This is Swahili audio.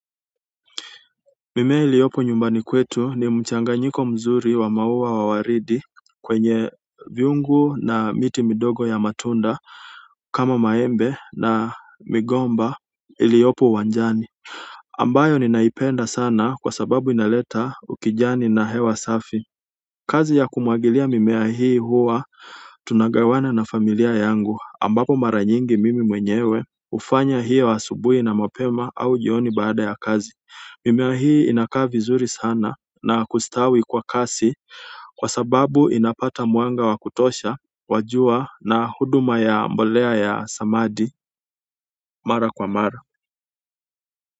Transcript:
Mimea iliyopo nyumbani kwetu ni mchanganyiko mzuri wa mauwa wawaridi kwenye viungu na miti midogo ya matunda kama maembe na migomba iliyopo uwanjani ambayo ninaipenda sana kwa sababu inaleta ukijani na hewa safi kazi ya kumwagilia mimea hii huwa tunagawana na familia yangu ambapo mara nyingi mimi mwenyewe hufanya hiyo asubui na mapema au jioni baada ya kazi. Mimea hii inakaa vizuri sana na kustawi kwa kasi kwa sababu inapata mwanga wakutosha, wa jua na huduma ya mbolea ya samadi mara kwa mara.